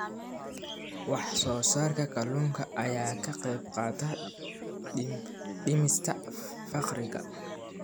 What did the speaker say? Wax soo saarka kalluunka ayaa ka qayb qaata dhimista faqriga.